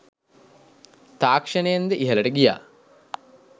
තාක්ෂණයෙන් ද ඉහළට ගියා.